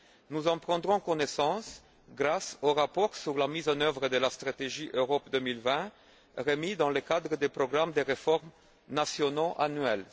Nous en prendrons connaissance grâce aux rapports sur la mise en œuvre de la stratégie Europe 2020, remis dans le cadre des programmes de réforme nationaux annuels